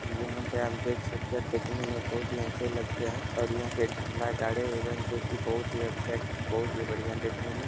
यहाँ पे आप देख सकते है देखने में बहुत ही अच्छे लगते हैं और यहाँ पे झंडा गाड़े हुए हैं जो कि बहुत ही अच्छे बहुत ही बढ़िया हैं देखने में।